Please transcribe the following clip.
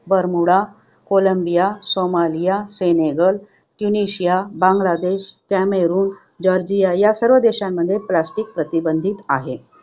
Bermuda, Colombia, Somalia, Senegal, Tunisia, Bangladesh, Cameroon, Georgia या सर्व देशांमध्ये plastic प्रतिबंधित आहे.